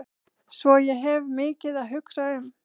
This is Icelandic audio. Svo ég hef mikið að hugsa um.